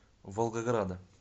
волгограда